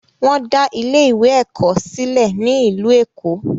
Wọn dá ilé ìwé ẹ̀kọ́ sílẹ̀ ní ìlú Èkó.